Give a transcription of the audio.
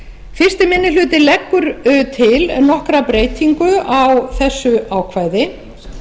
fyrsti minni hluti leggur til nokkra breytingu á þessu ákvæði